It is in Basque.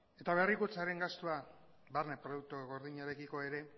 eta berrikuntzaren gastua barne produktu gordinarekiko ere